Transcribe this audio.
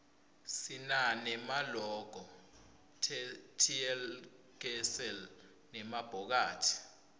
sinane maloko tlkesl nemabhokathi